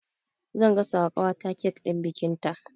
Zan gasa wa ƙawata kek ɗin bikinta